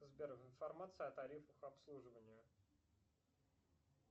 сбер информация о тарифах обслуживания